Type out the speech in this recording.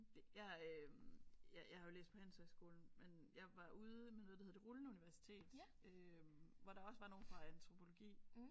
Det jeg øh jeg har jo læst på handelshøjskolen men jeg var ude med noget der hedder det rullende universitet øh hvor der også var nogen fra antropologi